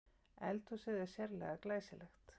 Eldhúsið er sérlega glæsilegt